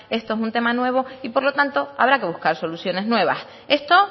esto es un tema nuevo y por lo tanto habrá que buscar soluciones nuevas esto